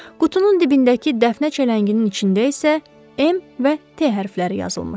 Qutunun dibindəki dəfnə çələnginin içində isə M və T hərfləri yazılmışdı.